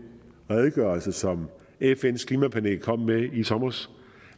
redegørelse som fns klimapanel kom med i sommers